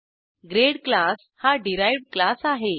grade class हा derived class आहे